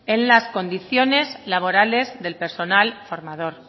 en las condiciones laborales del personal formador